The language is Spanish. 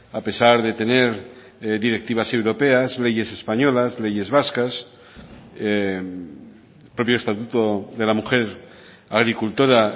a pesar de tener directivas europeas leyes españolas leyes vascas el propio estatuto de la mujer agricultora